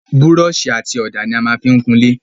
Búrọ̀sì àti ọ̀dà ni a maá fí n kun ilé